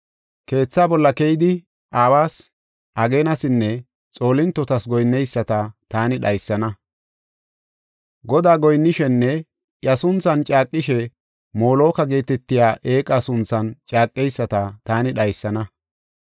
Keetha bolla keyidi awas, ageenasinne xoolintotas goyinneyisata taani dhaysana. Godaa goyinnishenne iya sunthan caaqishe Moloka geetetiya eeqa sunthan caaqeyisata taani dhaysana.